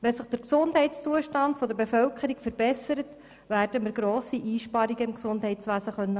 Verbessert sich der Gesundheitszustand der Bevölkerung, werden wir im Gesundheitswesen grosse Einsparungen machen können.